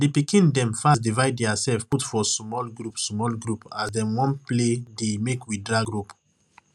di pikin dem fast divide diasef put for sumol group sumol group as dem wan play di makewedragrope